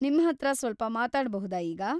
ನಿಮ್ಹತ್ರ ಸ್ವಲ್ಪ ಮಾತಾಡ್ಬುಹುದಾ ಈಗ?